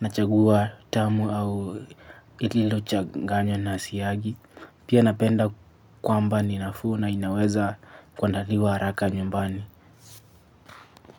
nachagua tamu au ililochanganya na siagi. Pia napenda kwamba ni nafuu na inaweza kuandaliwa haraka nyumbani.